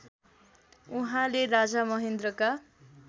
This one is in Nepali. उहाँले राजा महेन्द्रका